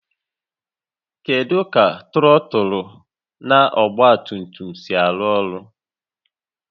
Kedu ka trọtụlụ na ọgba tum tum si arụ ọrụ?